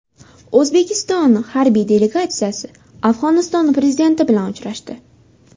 O‘zbekiston harbiy delegatsiyasi Afg‘oniston prezidenti bilan uchrashdi.